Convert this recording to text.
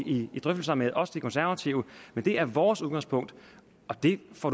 i drøftelserne med også de konservative men det er vores udgangspunkt og det får